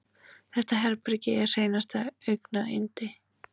Þetta herbergi er hreinasta augnayndi.